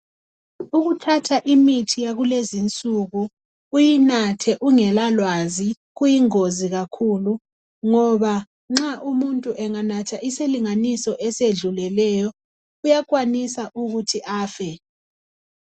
Ukuthatha imithi yakulezinsuku uyinathe ungela lwazi, kuyingozi kakhulu ngoba nxa umuntu anganatha isilinganiso esedluleleyo uyakwanisa ukuthi afe.